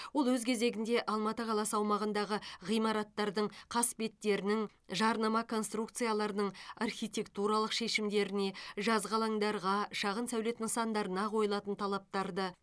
ол өз кезегінде алматы қаласы аумағындағы ғимараттардың қасбеттерінің жарнама конструкцияларының архитектуралық шешімдеріне жазғы алаңдарғашағын сәулет нысандарына қойылатын талаптарды